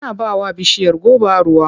Ana ba wa bishiyar goba ruwa.